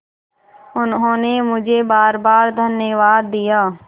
उन्होंने मुझे बारबार धन्यवाद दिया